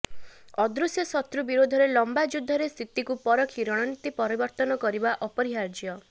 ଅଦୃଶ୍ୟ ଶତ୍ରୁ ବିରୋଧରେ ଲମ୍ବା ଯୁଦ୍ଧରେ ସ୍ଥିତିକୁ ପରଖି ରଣନୀତି ପରିବର୍ତ୍ତନ କରିବା ଅପରିହାର୍ଯ୍ୟ